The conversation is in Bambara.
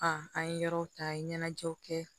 an ye yɔrɔw ta an ye ɲɛnajɛw kɛ